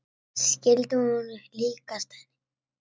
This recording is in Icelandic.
Skyldi hún líkjast henni?